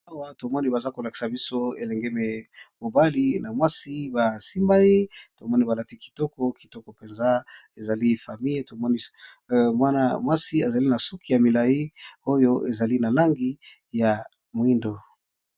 Awa tomoni bazolakisabiso elingi mobali na mwasi basimbani tomoni balati kitoko penza ezali famille tomoni mwana mwasi azali nasuku yamilayi oyo ezali yamulayi